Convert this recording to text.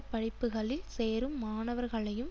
படிப்புக்களில் சேரும் மாணவர்களையும்